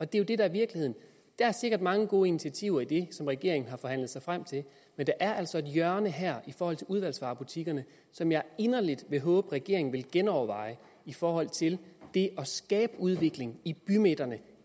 det er det der i virkeligheden der er sikkert mange gode initiativer i det som regeringen har forhandlet sig frem til men der er altså et hjørne her i forhold til udvalgsvarebutikkerne som jeg inderligt håber at regeringen vil genoverveje i forhold til det at skabe udvikling i bymidterne